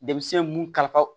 Denmisɛn mun kalifa